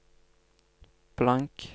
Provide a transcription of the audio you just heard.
blank